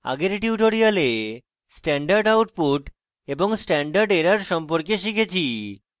আগের tutorial standard output এবং standard errors সম্পর্কে শিখেছি